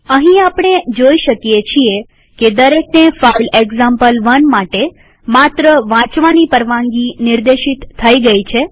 અહીં આપણે જોઈ શકીએ છીએ કે દરેકને ફાઈલ એક્ઝામ્પલ1 માટે માત્ર વાંચવાની પરવાનગી નિર્દેશિત થઇ ગઈ છે